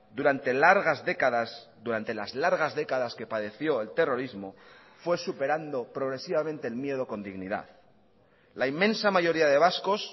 durante largas décadas durante las largas décadas que padeció el terrorismo fue superando progresivamente el miedo con dignidad la inmensa mayoría de vascos